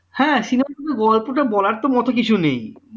হ্যাঁ সেইরকম গল্পটা বলার মোটেই কিছু নেই